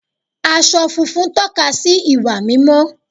Aṣọ funfun tóka sí ìwà mímọ́